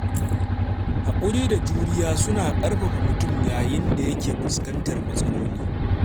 Haƙuri da juriya suna ƙarfafa mutum yayin da yake fuskantar matsaloli.